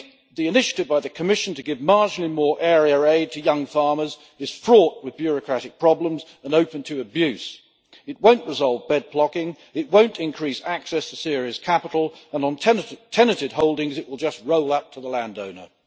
The initiative by the Commission to give marginally more area aid to young farmers is fraught with bureaucratic problems and open to abuse. It won't resolve bed blocking, it won't increase access to serious capital, and on tenanted holdings, it will just roll out to the landowner.